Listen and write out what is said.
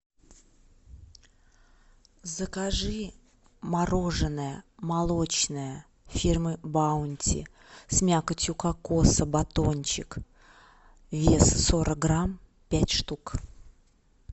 закажи мороженое молочное фирмы баунти с мякотью кокоса батончик вес сорок грамм пять штук